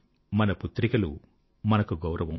మన పుత్రికలు మన గౌరవం